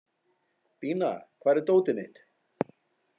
Bína, hvar er dótið mitt?